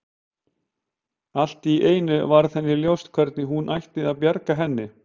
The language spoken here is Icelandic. Allt í einu varð henni ljóst hvernig hún ætti að bjarga henni.